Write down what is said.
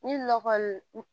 Ni lɔgɔ kɔni